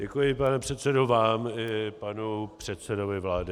Děkuji, pane předsedo, vám i panu předsedovi vlády.